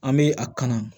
An bɛ a kanu